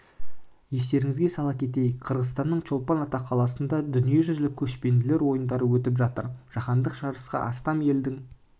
естеріңізге сала кетейік қырғызстанның чолпан ата қаласында дүниежүзілік көшпенділер ойындары өтіп жатыр жаһандық жарысқа астам елдің